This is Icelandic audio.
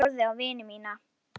Ég horfði á vini mína.